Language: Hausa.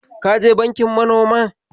Ka je bankin manoman?